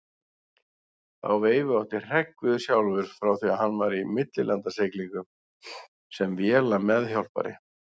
Þá veifu átti Hreggviður sjálfur frá því hann var í millilandasiglingum sem vélameðhjálpari.